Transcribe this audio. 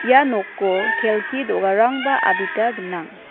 ia noko kelki do·garangba adita gnang.